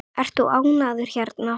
Ert þú ánægður hérna?